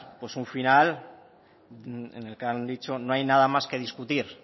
pues un final en el que han dicho no hay nada más que discutir